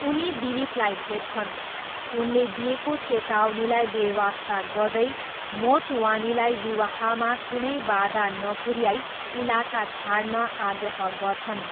उनी दिलीपलाई भेट्छन्। उनले दिएको चेतावनीलाई बेवास्ता गर्दै मोटवानीलाई विवाहमा कुनै बाधा नपुऱ्याई इलाका छाड्न आग्रह गर्छन्।